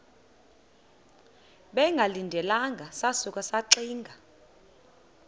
bengalindelanga sasuka saxinga